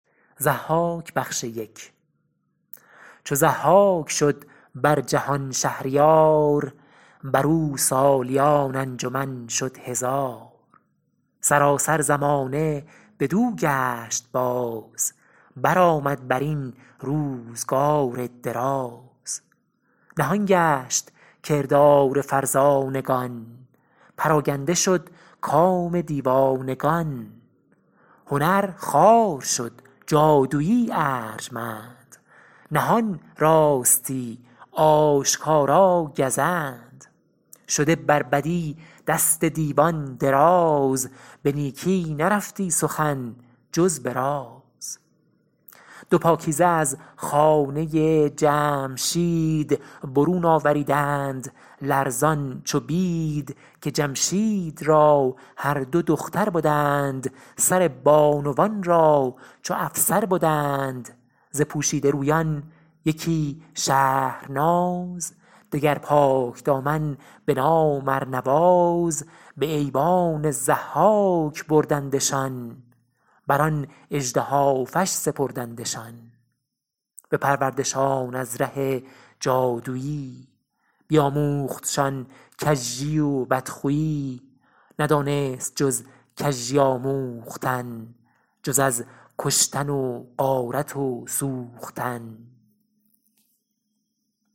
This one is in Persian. چو ضحاک شد بر جهان شهریار بر او سالیان انجمن شد هزار سراسر زمانه بدو گشت باز برآمد بر این روزگار دراز نهان گشت کردار فرزانگان پراگنده شد کام دیوانگان هنر خوار شد جادویی ارجمند نهان راستی آشکارا گزند شده بر بدی دست دیوان دراز به نیکی نرفتی سخن جز به راز دو پاکیزه از خانه جمشید برون آوریدند لرزان چو بید که جمشید را هر دو دختر بدند سر بانوان را چو افسر بدند ز پوشیده رویان یکی شهرناز دگر پاکدامن به نام ارنواز به ایوان ضحاک بردندشان بر آن اژدهافش سپردندشان بپروردشان از ره جادویی بیاموختشان کژی و بدخویی ندانست جز کژی آموختن جز از کشتن و غارت و سوختن